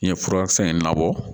N ye furakisɛ in labɔ